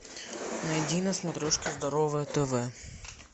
найди на смотрешке здоровое тв